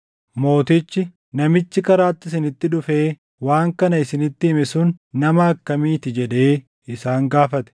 Mootichi, “Namichi karaatti isinitti dhufee waan kana isinitti hime sun nama akkamii ti?” jedhee isaan gaafate.